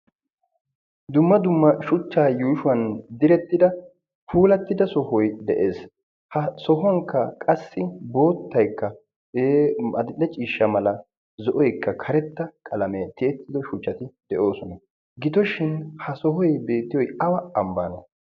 dumma dumma shuchchaa yuushuwan direttida puulattida sohoy de'ees ha sohuwankka qassi boottaykka male ciishsha mala zo'oikka karetta qalamee tiyettido shuchchati de'oosona gitooshin ha sohoy beettiyoi awa ambaana